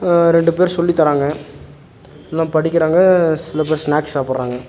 அ ரெண்டு பேர் சொல்லி தராங்க எல்லா படிக்கிறாங்க சில பேர் ஸ்னாக்ஸ் சாப்புட்றாங்க.